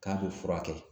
K'a bɛ furakɛ